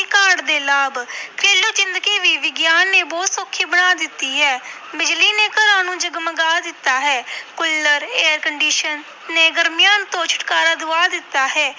ਕਾਢ ਦੇ ਲਾਭ ਘਰੇਲੂ ਜ਼ਿੰਦਗੀ ਵੀ ਵਿਗਿਆਨ ਨੇ ਬਹੁਤ ਸੌਖੀ ਬਣਾ ਦਿੱਤੀ ਹੈ ਬਿਜ਼ਲੀ ਨੇ ਘਰਾਂ ਨੂੰ ਜਗਮਗਾ ਦਿੱਤਾ ਹੈ ਕੁੱਲਰ air condition ਨੇ ਗਰਮੀਆਂ ਤੋਂ ਛੁਟਕਾਰਾ ਦਵਾ ਦਿੱਤਾ ਹੈ।